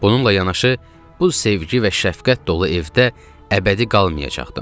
Bununla yanaşı, bu sevgi və şəfqət dolu evdə əbədi qalmayacaqdım.